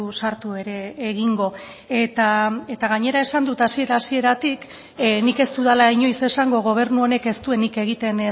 sartu ere egingo eta gainera esan dut hasiera hasieratik nik ez dudala inoiz esango gobernu honek ez duenik egiten